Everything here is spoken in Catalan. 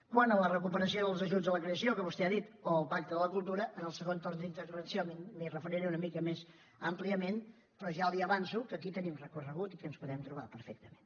quant a la recuperació dels ajuts a la creació que vostè ha dit o el pacte de la cultura en el segon torn d’intervenció m’hi referiré una mica més àmpliament però ja li avanço que aquí tenim recorregut i que ens hi podem trobar perfectament